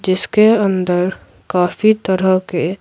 जिसके अंदर काफी तरह के--